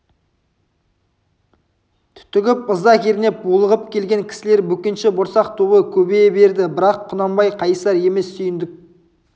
түтігіп ыза кернеп булығып келген кісілер бөкенші борсақ тобы көбейе берді бірақ құнанбай қайысар емес сүйіндік